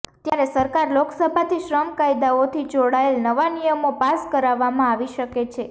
ત્યારે સરકાર લોકસભાથી શ્રમ કાયદાઓથી જોડાયેલ નવા નિયમો પાસ કરાવવામાં આવી શકે છે